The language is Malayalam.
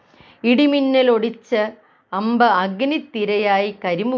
ഇടിമിന്നലൊടിച്ച അമ്പ്‌ അഗ്നിത്തിരയായക്കരിമു